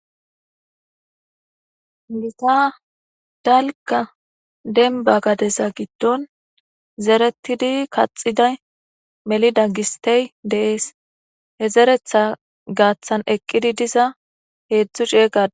gita dalka denba gadeza giddon zeretidi kaxiday melida gistey deees he zeretha gaaththan eqqidi diza heedzdzu ciey qa